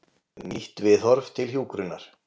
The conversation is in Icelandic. Nýtt viðhorf til hjúkrunar.